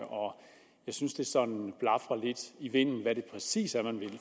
jeg synes at det sådan blafrer lidt i vinden hvad det præcis er man vil